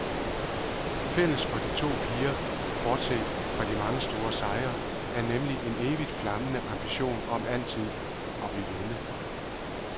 Fælles for de to piger, bortset fra de mange store sejre, er nemlig en evigt flammende ambition om altid at ville vinde.